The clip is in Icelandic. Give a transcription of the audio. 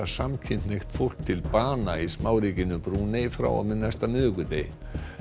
samkynhneigt fólk til bana í smáríkinu Brúnei frá og með næsta miðvikudegi